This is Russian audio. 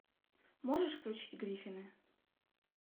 можешь включить гриффины